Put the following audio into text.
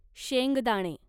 शेंगदाणे